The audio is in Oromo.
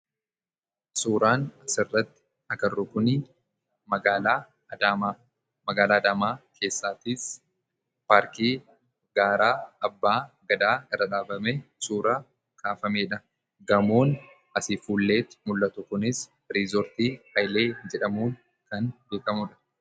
Suuraan asirratti agarru kun magaalaa Adaamaadha. Magaalaa Adaamaa keessaas paarkii gaara Abbaa Gadaa irra dhaabamee suuraa kaafamedha. Gamoon asii fuulletti mul'atu kunis riizortii Haayilee jedhamuun kan beekamudha.